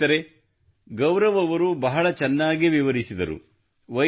ಸ್ನೇಹಿತರೇ ಗೌರವ್ ರವರು ಬಹಳ ಚೆನ್ನಾಗಿ ವಿವರಿಸಿದರು